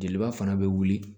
Jeliba fana bɛ wuli